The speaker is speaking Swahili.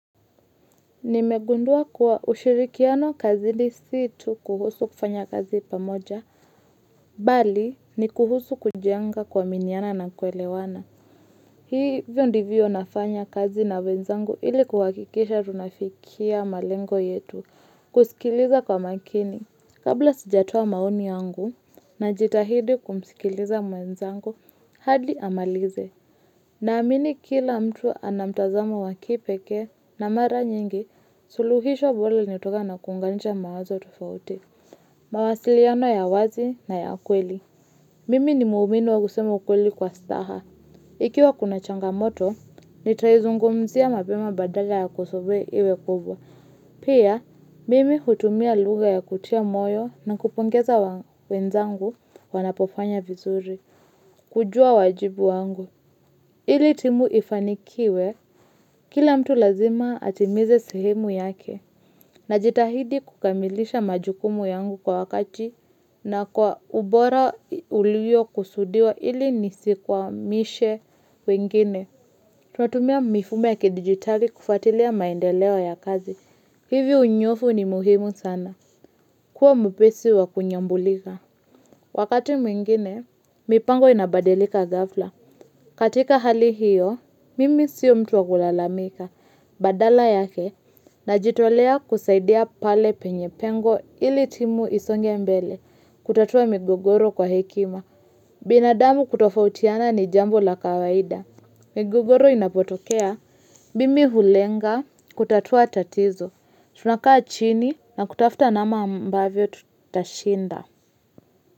Nimegundua kuwa ushirikiano kazi ni situ kuhusu kufanya kazi pamoja, bali ni kuhusu kujenga kua miniana na kuelewana. Hii hivyo ndivyo nafanya kazi na mwenzangu ili kuhakikisha tunafikia malengo yetu kusikiliza kwa makini. Kabla sijatoa maoni yangu na jitahidi kumsikiliza mwenzangu, hadi amalize. Na amini kila mtu anamtazamo wakipekee na mara nyingi suluhisho bora linatokana kunganisha mawazo tofauti. Mawasiliano ya wazi na ya kweli. Mimi ni muumini wa kusema ukweli kwa staha. Ikiwa kuna changamoto, nitaizungumzia mapema badala ya kusubiri iwe kubwa. Pia, mimi hutumia lugha ya kutia moyo na kupongeza wenzangu wanapofanya vizuri. Kujua wajibu wangu. Ili timu ifanikiwe, kila mtu lazima atimize sehemu yake, na jitahidi kukamilisha majukumu yangu kwa wakati na kwa ubora uliyo kusudiwa ili nisikwamishe wengine. Tunatumia mifumo ya kidigitali kufuatilia maendeleo ya kazi. Hivyo unyoofu ni muhimu sana. Kuwa mwepesi wa kunyambulika. Wakati mwingine, mipango inabadilika gafla. Katika hali hiyo, mimi sio mtu wakulalamika, badala yake, najitolea kusaidia pale penye pengo ili timu isonge mbele, kutatua migogoro kwa hekima. Binadamu kutofautiana ni jambo la kawaida. Migogoro inapotokea, mimi hulenga, kutatua tatizo, tunakaa chini na kutafuta namna ambavyo tutashinda.